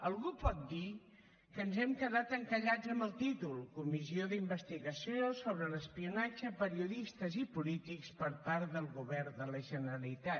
algú pot dir que ens hem quedat encallats amb el títol comissió d’investigació sobre l’espionatge a periodistes i polítics per part del govern de la generalitat